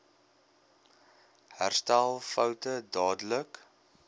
herstel foute dadelik